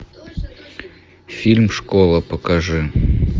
фильм школа покажи